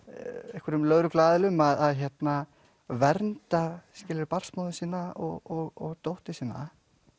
einhverjum lögregluaðilum að vernda barnsmóður sína og dóttur sína